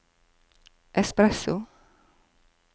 espresso